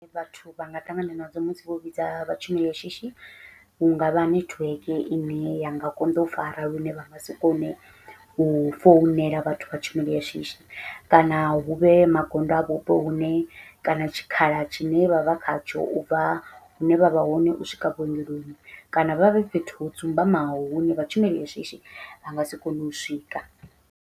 Vhathu vha nga ṱangana nadzo musi vho vhidza vha tshumelo ya shishi, hu ngavha nethiweke ine ya nga konḓa u fara lune vha nga si kone u founela vhathu vha tshumelo ya shishi, kana huvhe magondo a vhupo hune kana tshikhala tshine vha vha khatsho ubva hune vha vha hone u swika vhuongeloni kana vha vhe fhethu ho dzumbamaho hune vha tshumelo ya shishi vha ngasi kone u swika.